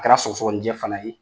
kɛra sɔgɔsɔgɔni jɛ fana ye.